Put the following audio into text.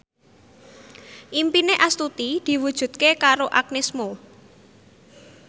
impine Astuti diwujudke karo Agnes Mo